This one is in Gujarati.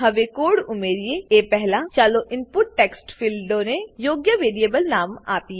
હવે કોડ ઉમેરીએ એ પહેલા ચાલો ઈનપુટ ટેક્સ્ટ ફીલ્ડોને યોગ્ય વેરીએબલ નામો આપીએ